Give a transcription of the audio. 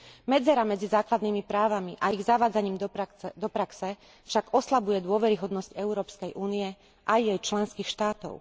Medzera medzi základnými právami a ich zavádzaním do praxe však oslabuje dôveryhodnosť Európskej únie aj jej členských štátov.